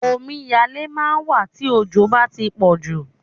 Omiyalé máà ń wà tí òjò bá tí pọ̀jù.